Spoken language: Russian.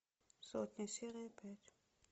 сотня серия пять